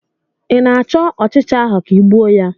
ị na-achọ ọchịcha ahụ ka ị gbuo ya?